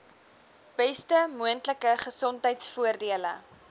beste moontlike gesondheidsorgvoordele